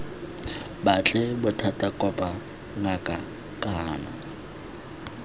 batle bothata kopa ngaka kana